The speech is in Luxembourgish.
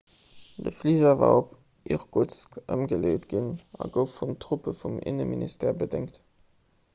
de fliger war op irkutsk ëmgeleet ginn a gouf vun truppe vum inneminstère bedéngt